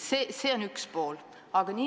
See on küsimuse üks pool.